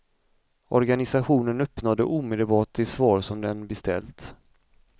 Organisationen uppnådde omedelbart det svar som den beställt.